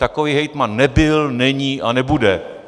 Takový hejtman nebyl, není a nebude!